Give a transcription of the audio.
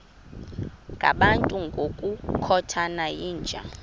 ngabantu ngokukhothana yinja